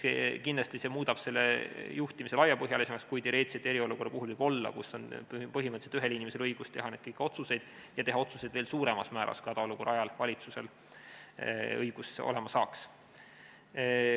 Kindlasti muudab see juhtimise laiapõhjalisemaks, kui teoreetiliselt võib olla eriolukorra ajal, kui põhimõtteliselt ühel inimesel on õigus teha neid kõiki otsuseid ja teha otsuseid veel suuremal määral, kui hädaolukorra ajal valitsusel see õigus olema saaks.